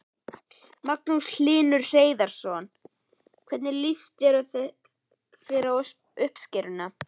Magnús Hlynur Hreiðarsson: Hvernig líst þér á uppskeruna?